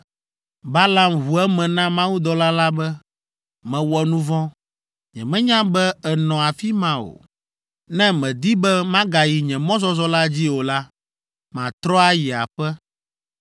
Balaam ʋu eme na mawudɔla la be, “Mewɔ nu vɔ̃. Nyemenya be ènɔ afi ma o. Ne mèdi be magayi nye mɔzɔzɔ la dzi o la, matrɔ ayi aƒe.”